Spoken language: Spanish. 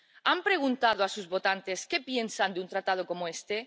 ¿Han preguntado a sus votantes qué piensan de un tratado como este?